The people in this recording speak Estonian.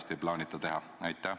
Ma pean silmas MES-i eelarvet.